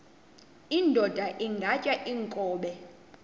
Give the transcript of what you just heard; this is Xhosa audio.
indod ingaty iinkobe